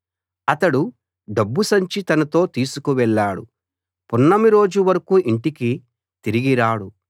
అతడు డబ్బు సంచి తనతో తీసుకు వెళ్ళాడు పున్నమి రోజు వరకూ ఇంటికి తిరిగి రాడు